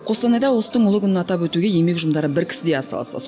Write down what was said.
қостанайда ұлыстың ұлы күнін атап өтуге еңбек ұжымдары бір кісідей атсалысты